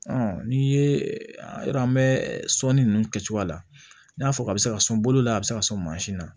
n'i ye yɔrɔ an bɛ sɔnni ninnu kɛcogo la n y'a fɔ a bɛ se ka sɔn bolo la a bɛ se ka sɔn mansin na